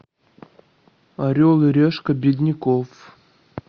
орел и решка бедняков